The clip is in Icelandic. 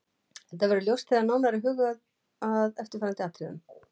Þetta verður ljóst þegar nánar er hugað að eftirfarandi atriðum